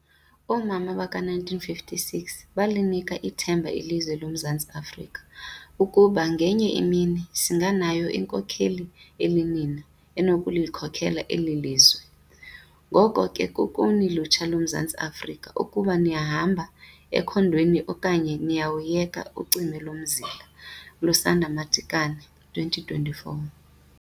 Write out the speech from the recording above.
Oomama baka 1956 balinika ithemba ilizwe lo Mzantsi Afrika ukuba ngenye imini singanayo inkokheli elinina enokulikhokela elilizwe. Ngoko ke kukuni lutsha lo Mzantsi Afrika ukuba nihamba ekhondweni okanye niyawuyeka ucime lo mzila. ~Lusanda Madikane, 2024.